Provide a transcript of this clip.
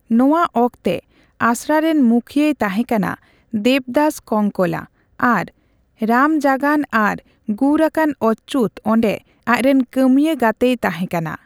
ᱱᱚᱣᱟ ᱚᱠᱛᱮ ᱟᱥᱲᱟᱨᱮᱱ ᱢᱩᱠᱷᱤᱭᱟᱹᱭ ᱛᱟᱸᱦᱮᱠᱟᱱᱟ ᱫᱮᱵᱽᱫᱟᱥ ᱠᱚᱱᱠᱚᱞᱟ, ᱟᱨ ᱨᱟᱢᱡᱟᱜᱟᱱ ᱟᱨ ᱜᱩᱨ ᱟᱠᱟᱱ ᱚᱪᱪᱩᱛ ᱚᱸᱰᱮ ᱟᱡᱨᱮᱱ ᱠᱟᱹᱢᱤᱭᱟᱹ ᱜᱟᱛᱮᱭ ᱛᱟᱦᱮᱸᱠᱟᱱᱟ ᱾